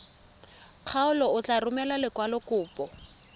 kgaolo o tla romela lekwalokopo